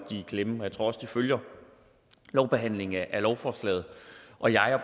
er i klemme og jeg tror også de følger lovbehandlingen af lovforslaget og jeg